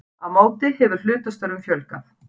Á móti hefur hlutastörfum fjölgað